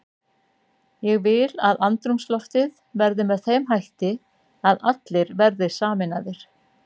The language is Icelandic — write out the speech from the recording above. Ég vil að andrúmsloftið verði með þeim hætti að allir verði sameinaðir.